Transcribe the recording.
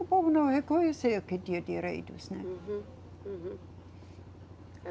O povo não reconhecia que tinha direitos, né? Uhum, uhum.